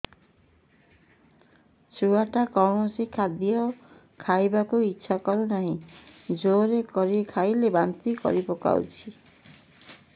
ଛୁଆ ଟା କୌଣସି ଖଦୀୟ ଖାଇବାକୁ ଈଛା କରୁନାହିଁ ଜୋର କରି ଖାଇଲା ବାନ୍ତି କରି ପକଉଛି